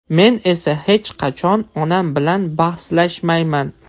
Men esa hech qachon onam bilan bahslashmayman.